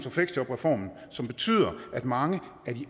og fleksjobreformen som betyder at mange